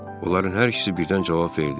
Onların hər ikisi birdən cavab verdi.